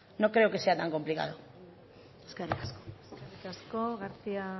no creo que sea tan complicado eskerrik asko eskerrik asko garcía